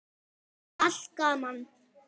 Allt gaman.